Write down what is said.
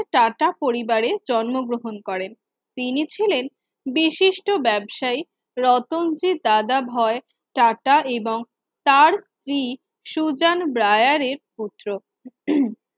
tata পরিবারে জন্মগ্রহণ করেন তিনি ছিলেন বিশিষ্ট ব্যাবসায়ী রতনজি দাদা ভাই টাটা এবং তার স্ত্রী সুজান ব্রায়ারের পুত্র